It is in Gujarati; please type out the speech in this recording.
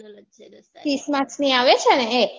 તીસ marks ની આવે છે ને એ